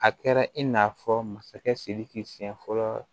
A kɛra i n'a fɔ masakɛ sidiki siyɛn fɔlɔ